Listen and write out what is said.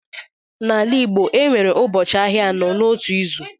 N’ala Igbo, e nwere ụbọchị ahịa anọ n’otu izu.